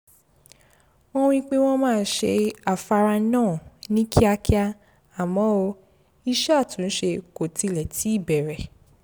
wọ́n wí pé wọ́n máa ṣe afárá náà ní kíákíá àmọ́ iṣẹ́ àtúnṣe kò tilẹ̀ tíì bẹ̀rẹ̀